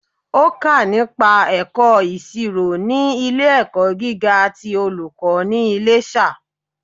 Ó kà nípa ẹ̀kọ́ ìsirò ní ilé ẹ̀kọ́ gíga ti olùkó ní Iléṣà